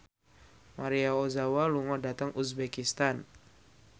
Maria Ozawa lunga dhateng uzbekistan